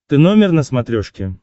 ты номер на смотрешке